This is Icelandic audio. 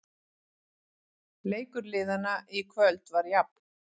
Leikur liðanna í kvöld var jafn